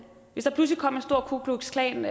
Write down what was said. hvis der pludselig kom en stor ku klux klan